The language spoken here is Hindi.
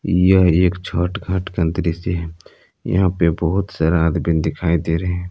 यह एक छठ घाट का दृश्य है यहां पे बहुत सारा आदमी दिखाई दे रहे है।